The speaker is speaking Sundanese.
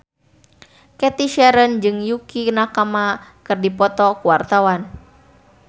Cathy Sharon jeung Yukie Nakama keur dipoto ku wartawan